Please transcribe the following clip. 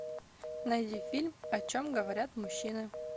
найди фильм о чем говорят мужчины